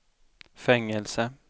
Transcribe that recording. fängelse